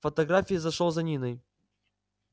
фотографии зашёл за ниной